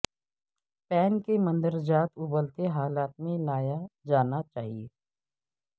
pain کے مندرجات ابلتے حالت میں لایا جانا چاہئے